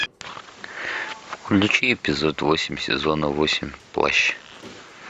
включи эпизод восемь сезона восемь плащ